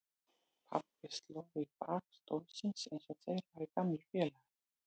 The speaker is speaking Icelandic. Pabbi sló í bak stólsins eins og þeir væru gamlir félagar.